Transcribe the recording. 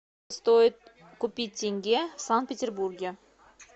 стоит купить тенге в санкт петербурге